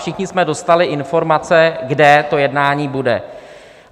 Všichni jsme dostali informace, kde to jednání bude.